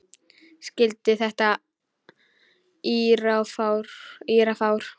Skildi ekki þetta írafár.